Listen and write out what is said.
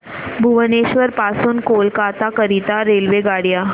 भुवनेश्वर पासून कोलकाता करीता रेल्वेगाड्या